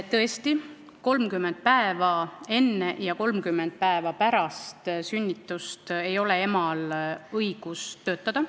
Tõesti, 30 päeva enne ja 30 päeva pärast sünnitust ei ole emal õigus töötada.